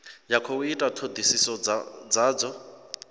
ya khou ita thodisiso dzadzo